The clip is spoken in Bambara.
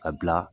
A bila